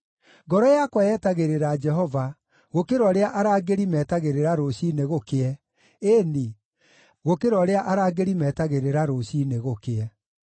Ngoro yakwa yetagĩrĩra Jehova, gũkĩra ũrĩa arangĩri metagĩrĩra rũciinĩ gũkĩe, ĩĩ-ni, gũkĩra ũrĩa arangĩri metagĩrĩra rũciinĩ gũkĩe.